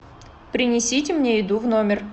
принесите мне еду в номер